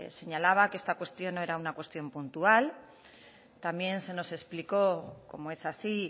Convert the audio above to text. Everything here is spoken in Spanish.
señalaba que esta cuestión no era una cuestión puntual también se nos explicó como es así